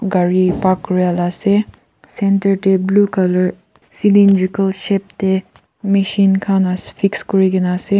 gari park kurya la ase center dae blue colour cylindrical shape dae machine khan la fix kurikena ase.